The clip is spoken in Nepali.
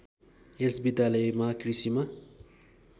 यस विद्यालयमा कृषिमा